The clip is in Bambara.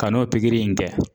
Ka n'o in kɛ.